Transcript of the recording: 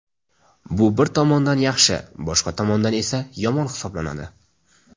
Bu bir tomondan yaxshi, boshqa tomondan esa yomon hisoblanadi.